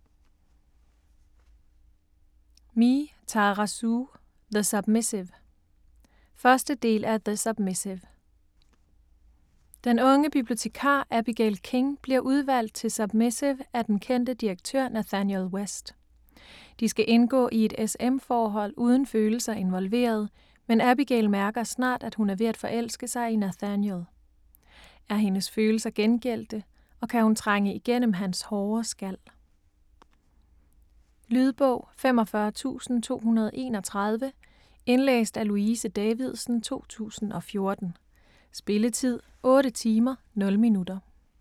Me, Tara Sue: The submissive 1. del af The submissive. Den unge bibliotekar Abigail King, bliver udvalgt til submissiv af den kendte direktør Nathaniel West. De skal indgå i et s/m forhold uden følelser involveret, men Abigail mærker snart at hun er ved at forelske sig i Nathaniel. Er hendes følelser gengældte, og kan hun trænge igennem hans hårde skal? Lydbog 45231 Indlæst af Louise Davidsen, 2014. Spilletid: 8 timer, 0 minutter.